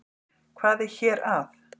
Hvað er hér að?